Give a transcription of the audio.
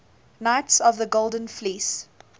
knights of the golden fleece